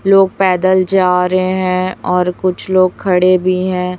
लोग पैदल जा रहे हैं और कुछ लोग खड़े भी हैं।